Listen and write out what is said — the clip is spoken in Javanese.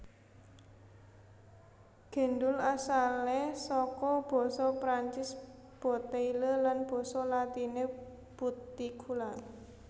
Gendul asalé saka basa Prancis boteille lan basa latiné butticula